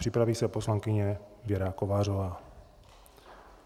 Připraví se poslankyně Věra Kovářová.